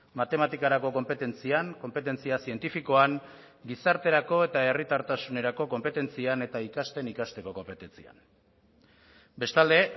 matematikarako konpetentzian konpetentzia zientifikoan gizarterako eta herritartasunerako konpetentzian eta ikasten ikasteko konpetentzian bestalde